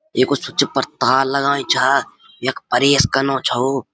ये कुछ स्विच पर तार लगायीं छा यख परेस कन्नू छऊ।